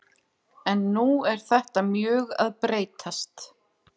En nú er þetta mjög að breytast.